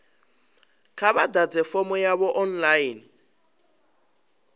kha vha ḓadze fomo yavho online